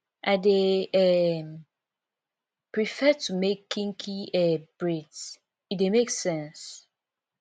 i dey um prefer to make kinky um braids e dey make sense